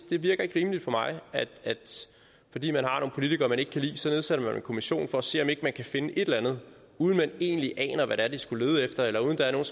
det virker ikke rimeligt for mig at fordi man har nogle politikere man ikke kan lide så nedsætter man en kommission for at se om ikke man kan finde et eller andet uden at man egentlig aner hvad det er den skulle lede efter eller uden at der er